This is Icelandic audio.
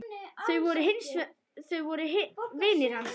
Þau voru vinir hans.